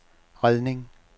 redning